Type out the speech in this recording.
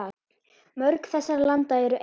Mörg þessara landa eru eyjar.